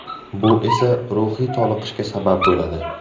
Bu esa, ruhiy toliqishga sabab bo‘ladi.